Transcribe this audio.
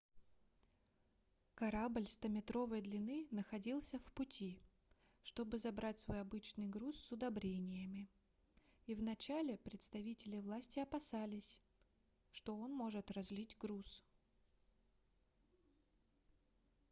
корабль стометровой длины находился в пути чтобы забрать свой обычный груз с удобрениями и в начале представители власти опасались что он может разлить груз